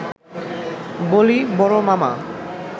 বলি–বড় মামা